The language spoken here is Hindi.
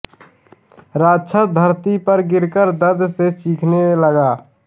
राक्षस धरती पर गिरकर दर्द से चीखने लगा